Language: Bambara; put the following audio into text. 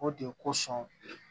O de ye kosɔn